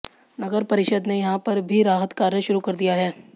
नगर परिषद ने यहां पर भी राहत कार्य शुरू कर दिया है